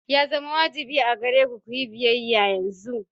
Ya zama wajibi a gare ku ku yi biyayya yanzu.